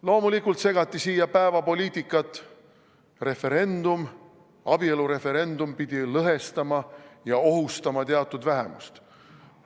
Loomulikult segati siia päevapoliitikat – abielureferendum pidi lõhestama ja ohustama teatud vähemust.